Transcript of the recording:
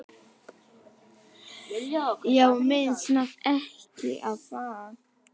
Já, minntist nafni ekkert á það?